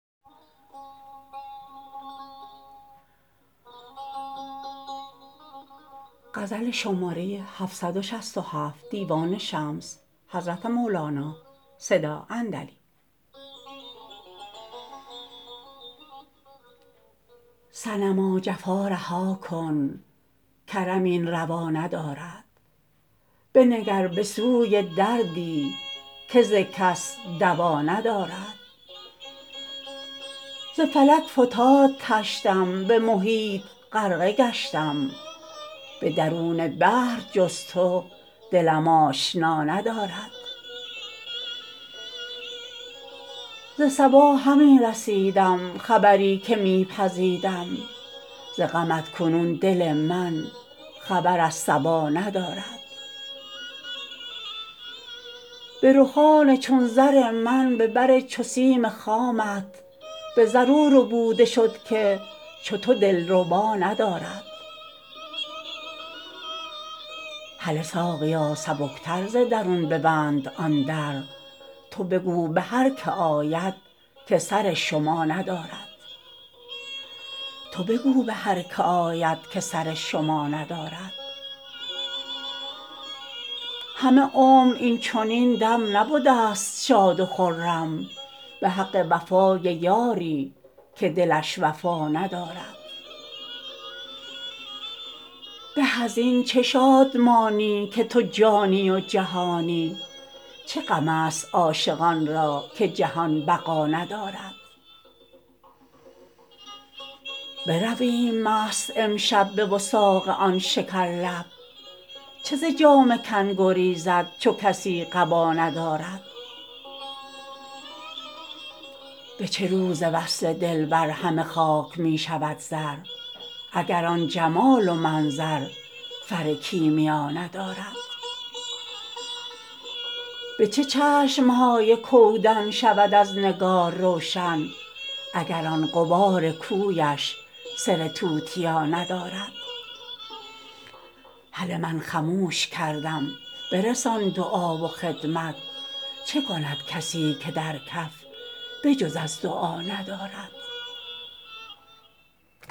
صنما جفا رها کن کرم این روا ندارد بنگر به سوی دردی که ز کس دوا ندارد ز فلک فتاد طشتم به محیط غرقه گشتم به درون بحر جز تو دلم آشنا ندارد ز صبا همی رسیدم خبری که می پزیدم ز غمت کنون دل من خبر از صبا ندارد به رخان چون زر من به بر چو سیم خامت به زر او ربوده شد که چو تو دلربا ندارد هله ساقیا سبکتر ز درون ببند آن در تو بگو به هر کی آید که سر شما ندارد همه عمر این چنین دم نبدست شاد و خرم به حق وفای یاری که دلش وفا ندارد به از این چه شادمانی که تو جانی و جهانی چه غمست عاشقان را که جهان بقا ندارد برویم مست امشب به وثاق آن شکرلب چه ز جامه کن گریزد چو کسی قبا ندارد به چه روز وصل دلبر همه خاک می شود زر اگر آن جمال و منظر فر کیمیا ندارد به چه چشم های کودن شود از نگار روشن اگر آن غبار کویش سر توتیا ندارد هله من خموش کردم برسان دعا و خدمت چه کند کسی که در کف به جز از دعا ندارد